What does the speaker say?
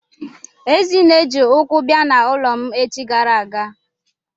Ezinne ji ụkwụ bịa n'ụlọ m echi gara aga.